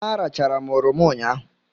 Arachara m oroma ụnyahụ.